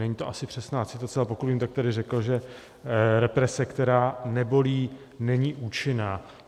Není to asi přesná citace, ale pokud vím, tak tady řekl, že represe, která nebolí, není účinná.